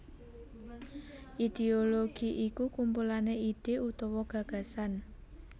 Idéologi iku kumpulan ide utawa gagasan